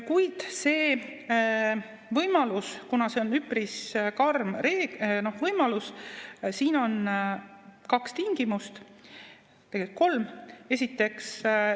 Kuid selle võimaluse puhul, kuna see on üpris karm võimalus, on kaks tingimust, tegelikult kolm.